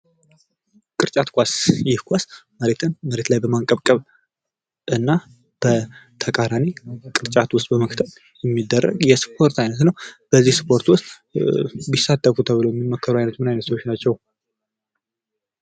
ቅርጫት ኳስ ፦ ይህ ኳስ መሬትን መሬት ላይ በማንቆብቆብ እና በተቃራኒ ቅርጫት ውስጥ በማክተት የሚደረግ የስፖርት አይነት ነው ። በዚህ ስፖርት ውስጥ ቢሳተፉ ተብለው የሚመከሩ አይነት ምን አይነት ሰዎች ናቸው ?